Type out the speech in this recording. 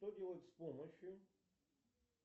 что делать с помощью